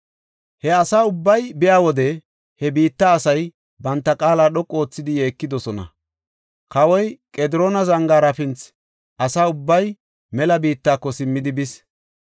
He asa ubbay biya wode he biitta asay banta qaala dhoqu oothidi yeekidosona. Kawoy Qediroona zangaara pinnis; asa ubbay mela biittako simmidi bis.